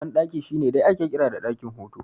Banɗaki shine dai ake kira da ɗakin hutu